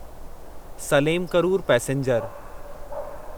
Salem Karur passenger